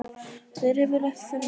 Þar er yfirleitt fjölmennt.